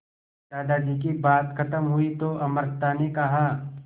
दादाजी की बात खत्म हुई तो अमृता ने कहा